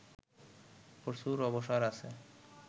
প্রচুর অবসর আছে